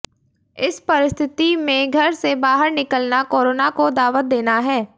इस परिस्थिति में घर से बहार निकलना कोरोना को दावत देना है